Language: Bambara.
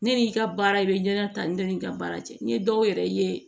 Ne n'i ka baara i bɛ ɲɛda ta ni ne ka baara cɛ n ye dɔw yɛrɛ ye